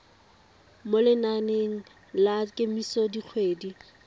mo lenaneng la kemiso dikgwedi